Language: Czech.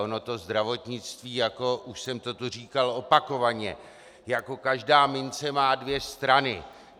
Ono to zdravotnictví, jak už jsem to tu říkal opakovaně, jako každá mince má dvě strany.